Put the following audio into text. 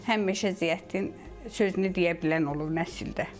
Həmişə Ziyəddin sözünü deyə bilən olub nəsildə.